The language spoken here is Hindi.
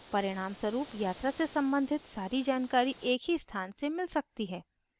परिणामस्वरुप यात्रा से सम्बंधित सारी जानकारी एक ही स्थान से मिल सकती है